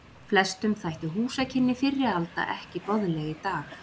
Flestum þættu húsakynni fyrri alda ekki boðleg í dag.